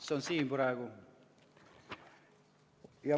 See on praegu siin.